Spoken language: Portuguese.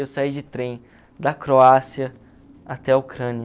Eu saí de trem da Croácia até a Ucrânia.